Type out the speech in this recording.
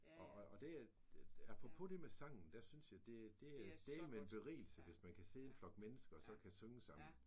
Og og og det at at apropos det med sangen der synes jeg det det er dælme en berigelse hvis man kan sidde en flok mennesker og så synge sammen